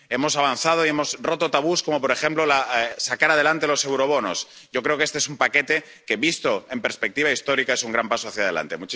Hemos avanzado y hemos roto tabús, como, por ejemplo, sacar adelante los eurobonos. Yo creo que este es un paquete que, visto en perspectiva histórica, es un gran paso hacia adelante.